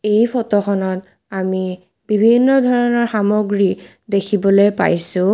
এই ফটোখনত আমি বিভিন্ন ধৰণৰ সামগ্ৰী দেখিবলৈ পাইছোঁ।